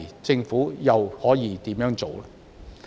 政府屆時又可以怎樣做？